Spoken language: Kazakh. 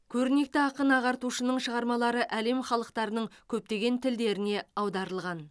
көрнекті ақын ағартушының шығармалары әлем халықтарының көптеген тілдеріне аударылған